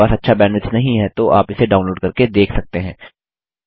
यदि आपके पास अच्छा बैंडविड्थ नहीं है तो आप इसे डाउनलोड करके देख सकते हैं